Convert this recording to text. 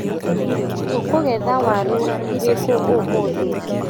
Tũkũgetha waru irĩkũ ũmũthĩ.